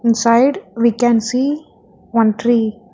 inside we can see one tree.